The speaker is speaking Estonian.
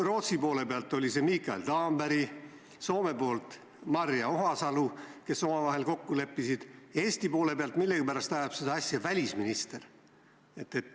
Rootsis oli see Mikael Damberg ja Soomes Maria Ohisalo, kes omavahel kokku leppisid, Eesti esindajana millegipärast ajab seda asja välisminister.